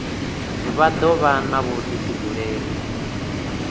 vha do vha na vhudifhinduleli